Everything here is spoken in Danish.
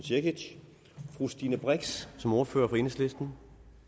cekic fru stine brix som ordfører for enhedslisten